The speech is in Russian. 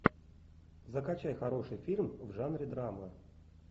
закачай хороший фильм в жанре драма